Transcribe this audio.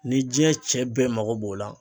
Ni jiɲɛ cɛ bɛɛ mago b'o la